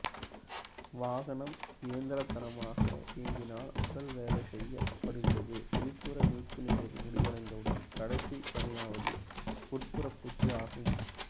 வாகனம் இயந்திரத்தனமாக இயங்கினால் உடல் வேலை செய்யப்படுகிறதுவெளிப்புற மீட்பு நிறைவு முடிந்தவுடன் கடைசி பணியானது உட்புற பூச்சு ஆகும்